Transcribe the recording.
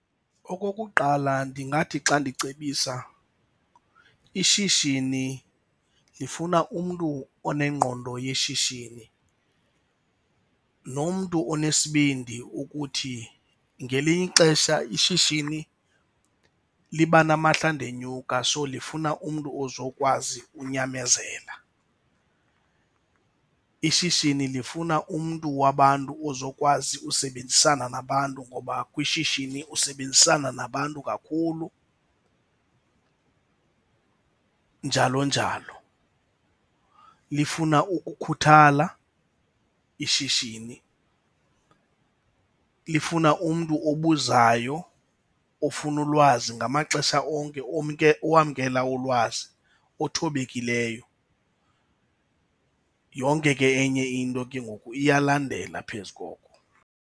Okokuqala ndingathi xa ndicebisa, ishishini lifuna umntu onengqondo yeshishini nomntu onesibindi ukuthi ngelinye ixesha ishishini liba namahlandenyuka so lifuna umntu ozokwazi unyamezela. Ishishini lifuna umntu wabantu ozokwazi usebenzisana nabantu ngoba kwishishini usebenzisana nabantu kakhulu, njalo njalo. Lifuna ukukhuthala ishishini, lifuna umntu obuzayo ofuna ulwazi ngamaxesha onke owamkela ulwazi othobekileyo. Yonke ke enye into ke ngoku iyalandela phezu koko.